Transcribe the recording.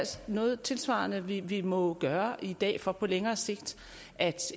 noget tilsvarende vi vi må gøre i dag for på længere sigt at